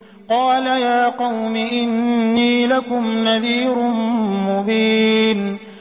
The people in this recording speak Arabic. قَالَ يَا قَوْمِ إِنِّي لَكُمْ نَذِيرٌ مُّبِينٌ